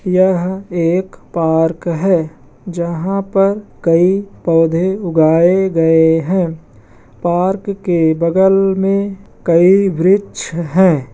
यह एक पार्क है जहाँ पर कई पौधे उगाए गए हैं | पार्क के बगल मे कई वृक्ष हैं ।